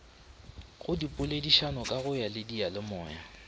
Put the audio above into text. go dipoledišano ka go diyalemoya